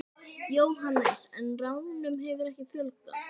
Jóhannes: En ránum hefur ekki fjölgað?